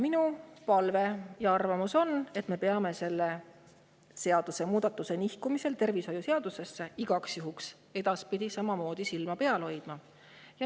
Minu palve on, et me pärast selle nihkumist tervishoiu seadusesse sellel igaks juhuks ka edaspidi samamoodi silma peal hoiame.